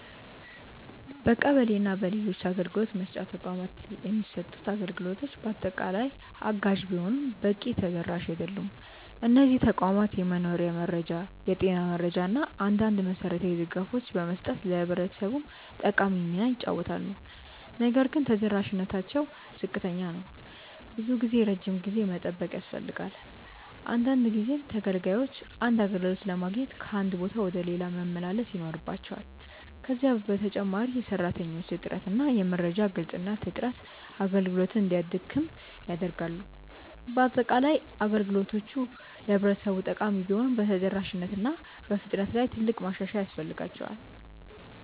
በቀበሌ እና በሌሎች አገልግሎት መስጫ ተቋማት የሚሰጡት አገልግሎቶች በአጠቃላይ አጋዥ ቢሆኑም በቂ ተደራሽ አይደሉም። እነዚህ ተቋማት የመኖሪያ መረጃ፣ የጤና መረጃ እና አንዳንድ መሠረታዊ ድጋፎችን በመስጠት ለህብረተሰቡ ጠቃሚ ሚና ይጫወታሉ። ነገር ግን ተደራሽነታቸው ዝቅተኛ ነው። ብዙ ጊዜ ረጅም ጊዜ መጠበቅ ያስፈልጋል፣ አንዳንድ ጊዜም ተገልጋዮች አንድ አገልግሎት ለማግኘት ከአንድ ቦታ ወደ ሌላ መመላለስ ይኖርባቸዋል። ከዚህ በተጨማሪ የሰራተኞች እጥረት እና የመረጃ ግልጽነት እጥረት አገልግሎቱን እንዲያደክም ያደርጋሉ። በአጠቃላይ፣ አገልግሎቶቹ ለህብረተሰቡ ጠቃሚ ቢሆኑም በተደራሽነት እና በፍጥነት ላይ ትልቅ ማሻሻያ ያስፈልጋቸዋል።